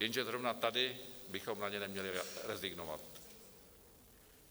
Jenže zrovna tady bychom na ně neměli rezignovat.